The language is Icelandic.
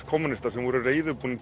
kommúnistar sem voru reiðubúnir